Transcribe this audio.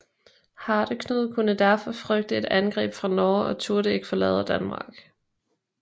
Hardeknud kunne derfor frygte et angreb fra Norge og turde ikke forlade Danmark